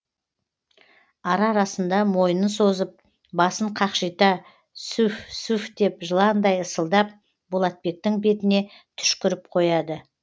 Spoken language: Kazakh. ара арасында мойнын созып басын қақшита сүф сүф деп жыландай ысылдап болатбектің бетіне түшкіріп қояды